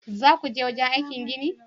Zakuje wajenaikin ginin?